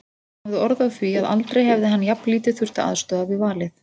Hann hafði orð á því að aldrei hefði hann jafnlítið þurft að aðstoða við valið.